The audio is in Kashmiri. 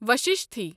وششتی